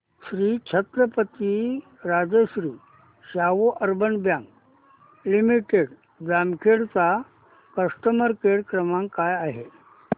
Shri Chhatrapati Rajshri Shahu urban bank limited Jamkhed चा customer care क्रमांक काय आहे